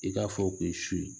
I k'a fɔ k'i suli